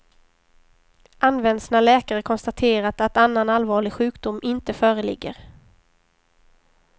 Används när läkare konstaterat att annan allvarlig sjukdom inte föreligger.